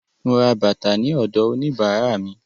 Mo ra bàtà náà ní ọ̀dọ̀ òníbàárà mi.